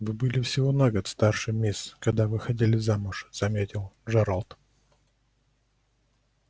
вы были всего на год старше мисс когда выходили замуж заметил джералд